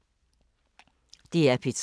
DR P3